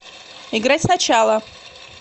играть сначала